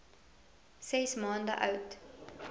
ses maande oud